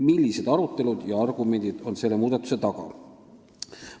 Millised arutelud ja argumendid on selle muudatuse taga?